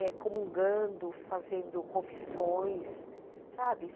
É, comungando, fazendo confissões, sabe?